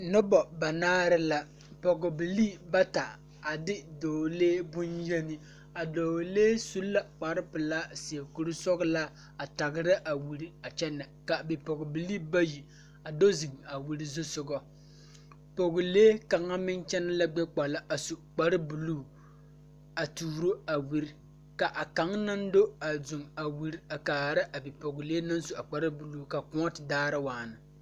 Nobɔ banaare la pogbilii bata a de dɔɔlee bonyeni a dɔɔlee su la kparepilaa seɛ kuresɔglaa a tagra a wiri a kyɛnɛ ka bipogbilii bayi a do zeŋ a wiri zuzsugɔ poglee kaŋa meŋ kyɛnɛ la gbɛkpala a su kparebluu a tuuro a wiri ka a kaŋ naŋ do a zeŋ a wiri a kaara bipoglee naŋ su a kparebluu ka kòɔ te daara waana.